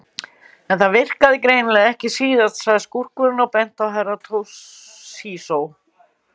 En það virkaði greinilega ekki síðast, sagði skúrkurinn og benti á Herra Toshizo.